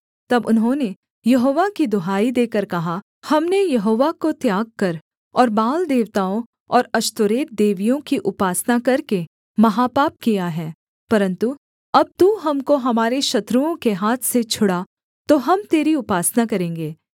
तब उन्होंने यहोवा की दुहाई देकर कहा हमने यहोवा को त्याग कर और बाल देवताओं और अश्तोरेत देवियों की उपासना करके महापाप किया है परन्तु अब तू हमको हमारे शत्रुओं के हाथ से छुड़ा तो हम तेरी उपासना करेंगे